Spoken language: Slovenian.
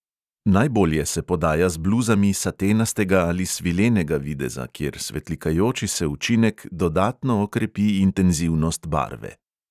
Najbolje se podaja z bluzami satenastega ali svilenega videza, kjer svetlikajoči se učinek dodatno okrepi intenzivnost barve.